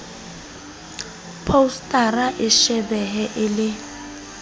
phousetara e shebehe e le